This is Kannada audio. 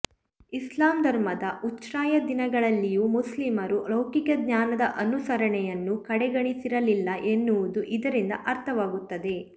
ಇಸ್ಲಾಂ ಧರ್ಮದ ಉಚ್ಛ್ರಾಯದಿನಗಳಲ್ಲಿಯೂ ಮುಸ್ಲಿಮರು ಲೌಕಿಕ ಜ್ಞಾನದ ಅನುಸರಣೆಯನ್ನು ಕಡೆಗಣಿಸಿರಲಿಲ್ಲ ಎನ್ನುವುದು ಇದರಿಂದ ಅರ್ಥವಾಗುತ್ತದೆ